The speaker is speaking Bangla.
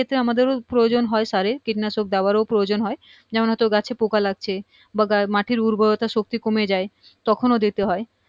ক্ষেত্রেই আমাদের প্রয়োজন হয় সারের কীটনাশক দেয়ার ও প্রয়োজন হয় যেমন হয়তো গাছে পোকা লাগছে বা মাটির উর্বরতার শক্তি কমে যায় তখনো দিতে হয়